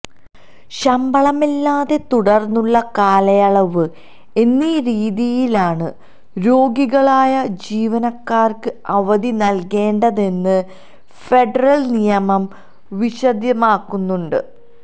ശമ്പളമില്ലാതെ തുടര്ന്നുള്ള കാലയളവ് എന്നീ രീതിയിലാണ് രോഗികളായ ജീവനക്കാര്ക്ക് അവധി നല്കേണ്ടതെന്ന് ഫെഡറല് നിയമം വിശദമാക്കുന്നുണ്ട്